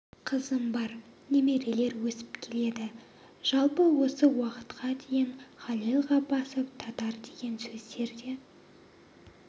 қызым бар немерелер өсіп келеді жалпы осы уақытқа дейін халел ғаббасов татар деген сөздер де